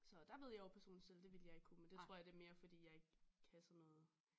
Så der ved jeg jo personligt selv det ville jeg ikke kunne men det tror jeg mere er fordi jeg ikke kan sådan noget